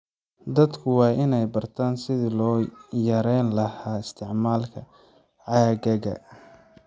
Dadku waa inay bartaan sidii loo yareyn lahaa isticmaalka caagagga.